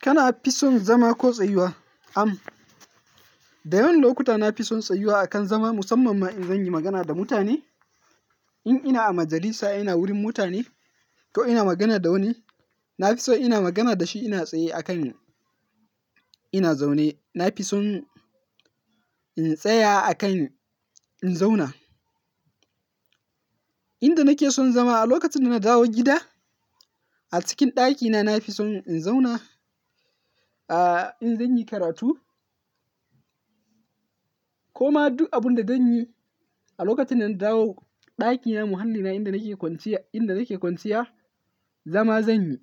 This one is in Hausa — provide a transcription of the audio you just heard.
Kana fisun zama ko tsayuwa? Da yawan lokuta na fi son tsayuwa akan zama musamman ma in zan yi magana da mutane. In ina a majalisa, ina wurin mutane ko ina magana da wani, na fi so ina magana da shi ina tsaye a kan ina zaune. Na fi son in tsaya a kan in zauna. Inda nake son zama a lokacin da na dawo gida, a cikin ɗakina na fi son in zauna, ah, in zan yi karatu ko ma duk abun da zan yi a lokacin da na dawo ɗakina muhallina inda nake kwanciya, inda nake kwanciya, zama zan yi.